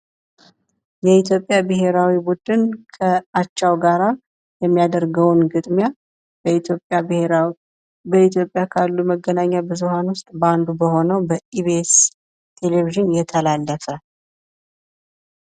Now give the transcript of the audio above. የኢትዮጵያ ብሄራዊ ቡድን ከአቻው ጋር የሚያደርገውን ግጥሚያ በኢትዮጵያ ካሉ መገናኛ ብዙሃን ውስጥ በአንዱ በሆነው በኢቢኤስ ቴሌቪዥን እየተላለፈ